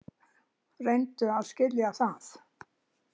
Reyndu að skilja það.